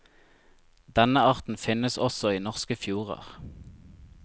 Denne arten finnes også i norske fjorder.